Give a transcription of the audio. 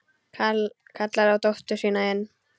Kallar á dóttur sína inn.